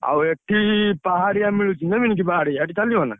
ଆଉ ଏଠି ପାହାଡିଆ ମିଳୁଚି ନେବି କି ପାହାଡିଆ ସେଠି ଚାଲିବନା?